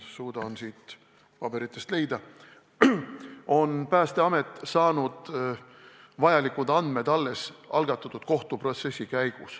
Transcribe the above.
Kokku on meil ära toodud 79 seesugust juhtumit, nii palju kui ma suudan siit paberitest leida.